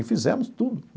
E fizemos tudo.